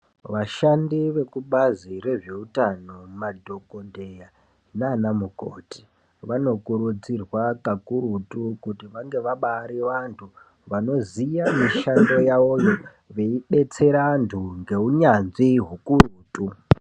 Vashandi vezvekubazi reeutano madhokodheya naanamukoti vanokurudzirwa kakurutu kuti vange vabaari vantu vanoziye mushando yavo veibetsera vantu ngeunyanzvi hukurutu.